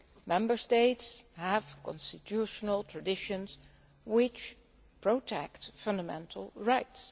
Member States have constitutional traditions which protect fundamental rights.